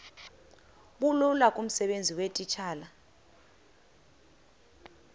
bulula kumsebenzi weetitshala